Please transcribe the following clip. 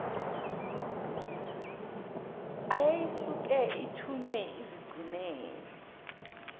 eyayisuke ithunyiwe izigcinele